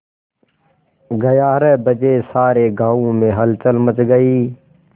ग्यारह बजे सारे गाँव में हलचल मच गई